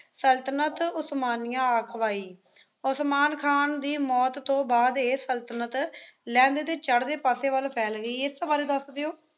ਸੁਲ੍ਤ੍ਨਤ ਓਸ੍ਮਾਨਿਆ ਅਖਵਾਏ Osman Khan ਦੇ ਮੂਤ ਤੋ ਬਾਦ ਆਯ ਸਬ ਸੁਲ੍ਤ੍ਨਤ ਲੇੰਡੀ ਟੀ ਚਾਰ੍ਹ੍ਡੇ ਪਾਸੀ ਵਾਲ ਫੀਲ ਗਏ ਇਸ ਬਰੀ ਦਸ ਦਯੋ